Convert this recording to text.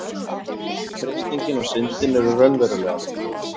freistingin og syndin eru raunverulegar